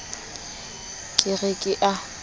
ke re ke a o